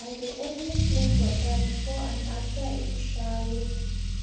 i dey always drink water before and after each shayo